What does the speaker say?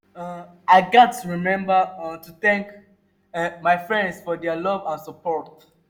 um i gats remember um to thank um my friends for their love and support.